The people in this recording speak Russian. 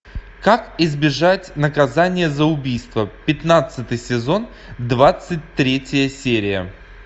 как избежать наказание за убийство пятнадцатый сезон двадцать третья серия